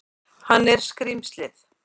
Hann er skrímslið.